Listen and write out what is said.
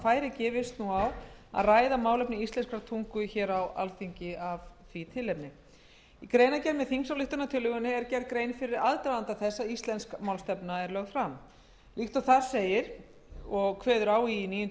færi gefist á að ræða málefni íslenskrar tungu hér á alþingi af því tilefni í greinargerð með þingsályktunartillögunni er gerð grein fyrir aðdraganda þess að íslensk málstefna er lögð fram líkt og þar segir kveður níundu